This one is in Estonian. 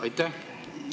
Aitäh!